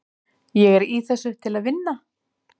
Ég er í þessu til að vinna.